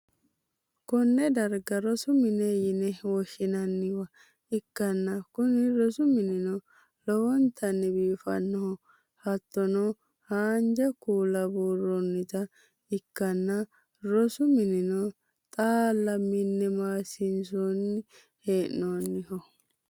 konne darga rosu mine yine woshshi'nanniwa ikkanna, kuni rosu minino lowontanni biifannoho, hattono, haanja kuula buurroonnita ikkitanna, rosu minino xaaalla mine maassinsanni hee'noonniho.